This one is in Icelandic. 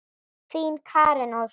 Þín, Karen Ósk.